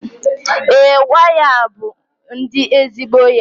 ee, waya a bụ ndi ezigbo ya